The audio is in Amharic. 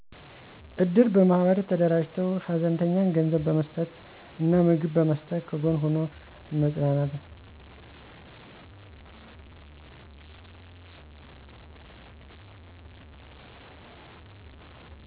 እድር በማህበር ተደራጅተው ሀዘንተኛን ገንዘብ በመስጠት ምግብ በመስጠት ከጎን ሁኖ መጽናናት